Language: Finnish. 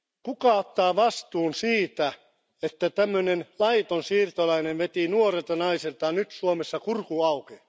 Kuka ottaa vastuun siitä, että tämmöinen laiton siirtolainen veti nuorelta naiselta nyt Suomessa kurkun auki?